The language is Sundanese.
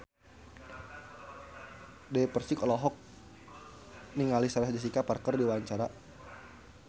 Dewi Persik olohok ningali Sarah Jessica Parker keur diwawancara